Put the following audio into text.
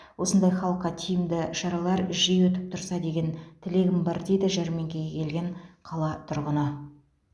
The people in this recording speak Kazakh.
осындай халыққа тиімді шаралар жиі өтіп тұрса деген тілегім бар дейді жәрмеңкеге келген қала тұрғыны